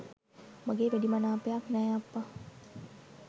මගේ වැඩි මනාපයක් නෑ අප්පා